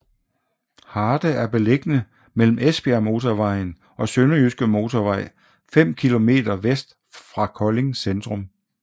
Harte er beliggende mellem Esbjergmotorvejen og Sønderjyske Motorvej fem kilometer vest for Kolding Centrum